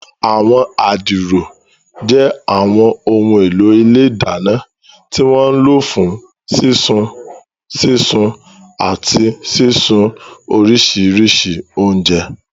Àwọn adiro jẹ́ àwọn ohun èlò ilé ìdáná tí wọ́n ń lò fún sísun, sísun, àti sísun oríṣiríṣi oúnjẹ.